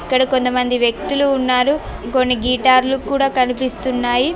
ఇక్కడ కొంతమంది వ్యక్తులు ఉన్నారు కొన్ని గిటార్ లు కూడా కనిపిస్తున్నాయి.